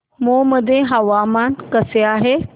मौ मध्ये हवामान कसे आहे